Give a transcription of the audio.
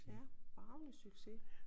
Ja bragende succes